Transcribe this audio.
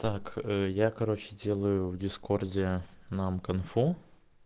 так я короче делаю в дискорде нам кунг-фу